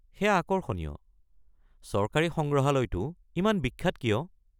সেয়া আকৰ্ষণীয়। চৰকাৰী সংগ্ৰহালয়টো ইমান বিখ্যাত কিয়?